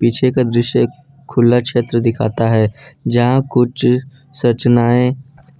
पीछे का दृश्य खुला क्षेत्र दिखाता है जहां कुछ संरचनाएं